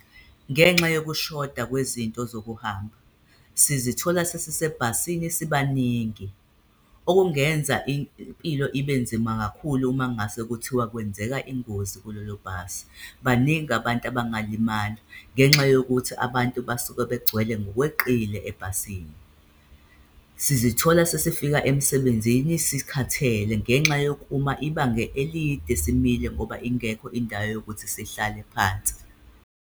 Ngenxa yokushoda kwezinto zokuhamba, sizithola sesisebhasini sibaningi, okungenza impilo ibe nzima kakhulu uma ngase kuthiwa kwenzeka ingozi kulolo bhasi, baningi abantu abangalimala ngenxa yokuthi abantu basuke begcwele ngokweqile ebhasini. Sizithola sesifika emsebenzini sikhathele ngenxa yokuma ibanga elide, simile ngoba ingekho indawo yokuthi sihlale phansi.